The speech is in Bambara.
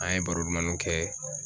An ye baro dumanninw kɛ.